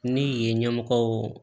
Ni yen ɲɛmɔgɔw